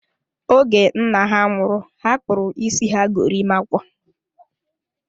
Oge nna ha nwụrụ, ha kpụrụ isi ha gorimakwa